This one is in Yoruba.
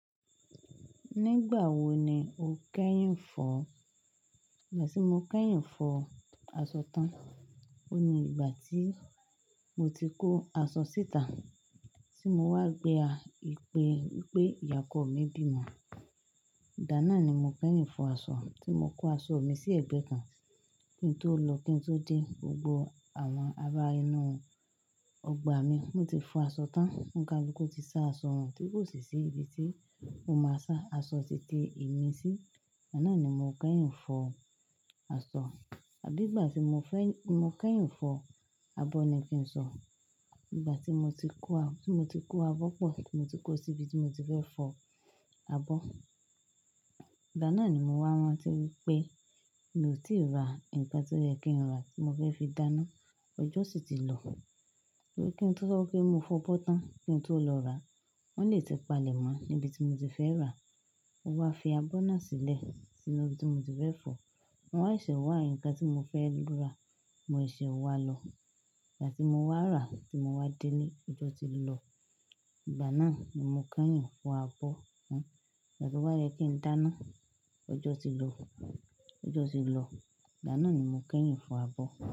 Nígbà wo ni o kẹ́yìn ń fọ? Ìgbà tí mo kẹ́yìn ń fọ aṣọ tán, ó ní ìgbà tí mo ti kó aṣọ síta, tí mo wá gbé a, ìpè wípé ìyá ọkọ mi bímọ. Ìdá ná ni mo kẹ́yìn ń fọ aṣọ. Tí mo kó aṣọ mi sí ẹ̀gbẹ́ kan, kí n tó lọ, kí n tó dé, gbogbo àwọn ará inú ọgbà mi, wọ́n ti fọ aṣọ tán. Ohun ká lu ku ti sá aṣọ wàn tí kò sì sí ibi tí mo máa sá aṣọ títí èmi sí. Ìdáná ni mo kẹ́yìn ń fọ aṣọ. À bí ìgbà tí mo fẹ́, mo kẹ́yìn ń fọ abọ́ ni kí n sọ. Ìgbà tí mo ti kó a, tí mo ti kó abọ́ pọ̀, tí mo ti kó sí ibi tí mo ti fẹ́ fọ abọ́. Ìgbáná ni mo wá rantí wípé mi ò tíì ra ìgbà tí ó yẹ kí n rà tí mo fẹ́ fi dáná. Ọjọ́ sì ti lọ. Bí kí n tó sọ wípé mo fọ bọ́ tán kí n tó lọ rà á, wọ́n lè ti palẹ̀ mọ́ níbi tí mo ti fẹ́ rà á. Ó wá fi abọ́ náà sílẹ̀ sínú ibi tí mo ti fẹ́ fọ. Wọn á ṣe wà nkán tí mo fẹ́ lọ rà, mo ì ṣe wá lọ. Ìgbà tí mo wá rà, tí mo wá délé, ọjọ́ ti lọ. Ìgbaná ni mo kẹ́yìn ń fọ abọ́. Ìgbà to wá yẹ kí n dáná, ọjọ́ ti lọ, ọjọ́ ti lọ. Ìgbána ni mo kẹ́yìn ń fọ abọ́.